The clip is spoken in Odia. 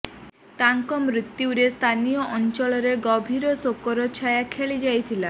ତାଙ୍କ ମୃତ୍ୟୁରେ ସ୍ଥାନୀୟ ଅଞ୍ଚଳରେ ଗଭୀର ଶୋକର ଛାୟା ଖେଳି ଯାଇଛି